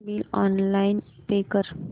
phone bill online pay कर